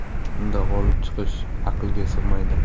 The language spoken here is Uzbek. Unda g‘olib chiqish aqlga sig‘maydi.